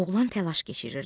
Oğlan təlaş keçirirdi.